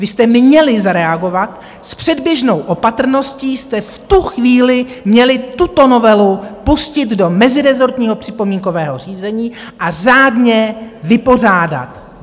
Vy jste měli zareagovat, s předběžnou opatrností jste v tu chvíli měli tuto novelu pustit do mezirezortního připomínkového řízení a řádně vypořádat!